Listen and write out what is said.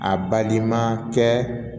A baliman kɛ